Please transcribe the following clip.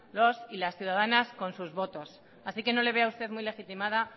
los y las ciudadanas con sus votos así que no le veo a usted muy legitimada